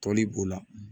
Tɔli b'o la